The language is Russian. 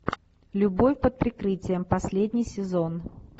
любовь под прикрытием последний сезон